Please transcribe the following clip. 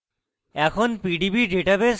এখন